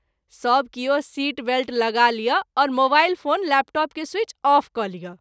सभ किओ seat belt लगा लिअ और मोबाइल फोन लैपटॉप के स्वीच आफ क’ लिअ।